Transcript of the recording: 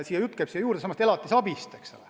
Jutt käib sellestsamast elatisabist.